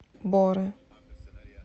боре